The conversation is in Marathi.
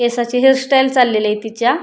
केसाची हेयर स्टाइल चाललेलीये तिच्या.